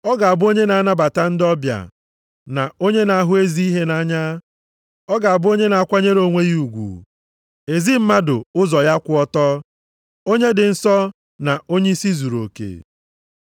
Ọ ga-abụ onye na-anabata ndị ọbịa, na onye na-ahụ ezi ihe nʼanya. Ọ ga-abụ onye na-akwanyere onwe ya ugwu, ezi mmadụ ụzọ ya kwụ ọtọ, onye dị nsọ, na onyeisi zuruoke.